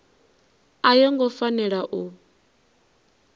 a yo ngo fanela u